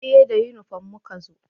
Eh da inifom muka zo